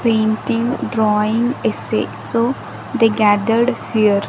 painting drawing essay so they gathered here.